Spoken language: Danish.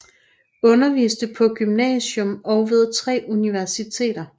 Underviste på gymnasium og ved tre universiteter